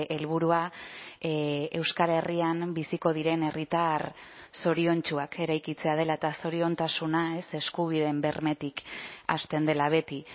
helburua euskal herrian biziko diren herritar zoriontsuak eraikitzea dela eta zoriontasuna eskubideen bermetik hasten dela beti